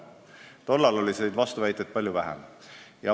Tollal oli vastuväiteid palju vähem.